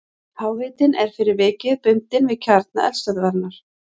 Háhitinn er fyrir vikið bundinn við kjarna eldstöðvarinnar.